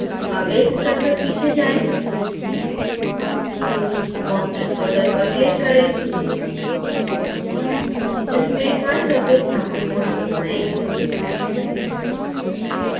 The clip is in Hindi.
अब एक स्तर तक पीछे जाएँ constant folder पर click करें इसमें trisurface नामक folder बनाएँ